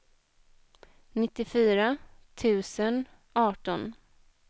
nittiofyra tusen arton